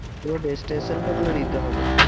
পুরো destination তাহলে দিতে হবে।